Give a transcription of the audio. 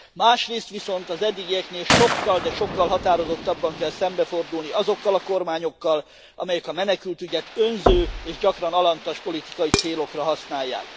Másrészt viszont az eddigieknél sokkal, de sokkal határozottabban kell szembefordulni azokkal a kormányokkal, amelyek a menekültügyet önző, és gyakran alantas politikai célokra használják.